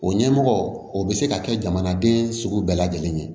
O ɲɛmɔgɔ o bɛ se ka kɛ jamanaden sugu bɛɛ lajɛlen ye